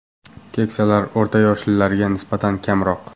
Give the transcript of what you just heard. Keksalar o‘rta yoshlilarga nisbatan kamroq.